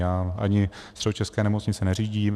Já ani středočeské nemocnice neřídím.